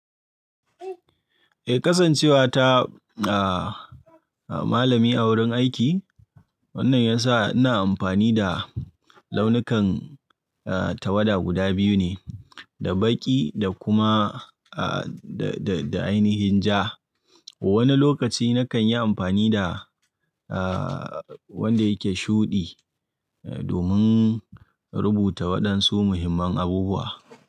Eh kasance wata malami a wurin aiki wannan yasa ina amfani da launikan tawada guda biyu ne da baƙi da kuma da da ainahin ja. Wani lokaci nakan yi amfani da, wanda yake shuɗi domin rubuta waɗansu muhimman abubuwa.